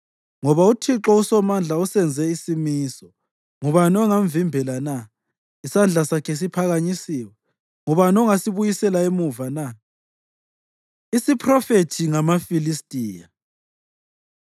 Ngoba uThixo uSomandla usenze isimiso, ngubani ongamvimbela na? Isandla sakhe siphakanyisiwe, ngubani ongasibuyisela emuva na? Isiphrofethi Ngamafilistiya